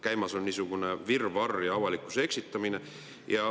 Käimas on niisugune virvarr ja avalikkuse eksitamine.